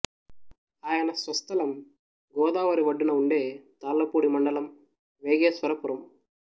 ఆయన స్వస్థలం గోదావరి ఒడ్డునే ఉండే తాళ్లపూడి మండలం వేగేశ్వరపురం